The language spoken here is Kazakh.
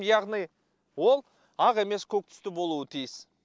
яғни ол ақ емес көк түсті болуы тиіс